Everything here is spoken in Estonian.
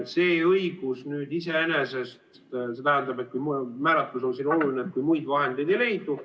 See õigus iseenesest tähendab – see määratlus on siin oluline –, et kui muid vahendeid ei leidu.